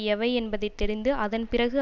எவை என்பதை தெரிந்து அதன் பிறகு